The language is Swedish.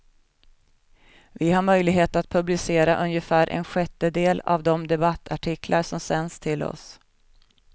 Vi har möjlighet att publicera ungefär en sjättedel av de debattartiklar som sänds till oss.